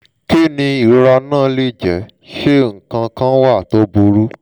kí ni ìrora náà lè jẹ́? ṣé nǹkan kan wà tó burú?